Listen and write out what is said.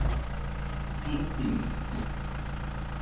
Og ég má vonandi vera í tjaldinu hjá þér sagði Gerður hlæjandi.